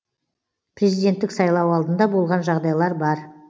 президенттік сайлау алдында болған жағдайлар бар